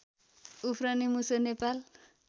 उफ्रने मुसो नेपाल